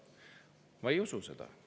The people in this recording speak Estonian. Ma ei usu seda.